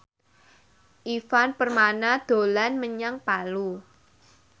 Ivan Permana dolan menyang Palu